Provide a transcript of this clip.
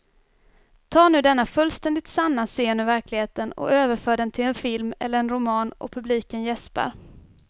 Ta nu denna fullständigt sanna scen ur verkligheten och överför den till en film eller en roman och publiken jäspar.